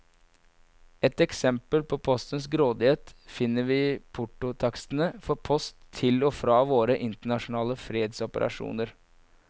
Ett eksempel på postens grådighet finner vi i portotakstene for post til og fra våre internasjonale fredsoperasjoner.